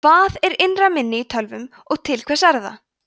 hvað er innra minni í tölvum og til hvers er það